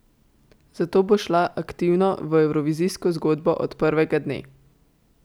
Zato bo šla aktivno v evrovizijsko zgodbo od prvega dne.